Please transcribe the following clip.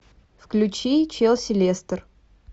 включи челси лестер